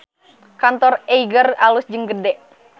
Kantor Eiger alus jeung gede